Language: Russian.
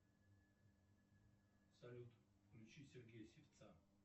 салют включи сергея сивца